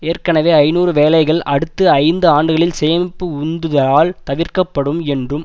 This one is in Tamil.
ஏற்கனவே ஐநூறு வேலைகள் அடுத்த ஐந்து ஆண்டுகளில் சேமிப்பு உந்துதலால் தகர்க்கப்படும் என்றும்